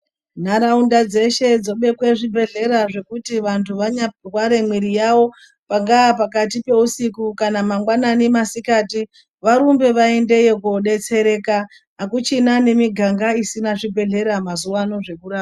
Nharaunda dzeshe dzobekwe zvibhehlera zvekuti vanhu vanya rware mwiri yavo panga pakati peusiku kana mangwanani masikati varumbe vaendeyo kodetsereka akuchina ne miganga isina zvibhehlera zvekurapa mazuvano